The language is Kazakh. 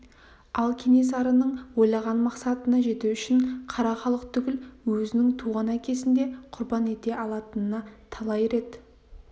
ал кенесарының ойлаған мақсатына жету үшін қара халық түгіл өзінің туған әкесін де құрбан ете алатынына талай рет